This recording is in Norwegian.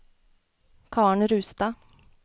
Karen Rustad